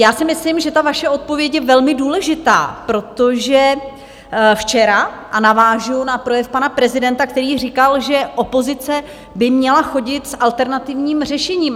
Já si myslím, že ta vaše odpověď je velmi důležitá, protože včera, a navážu na projev pana prezidenta, který říkal, že opozice by měla chodit s alternativním řešením.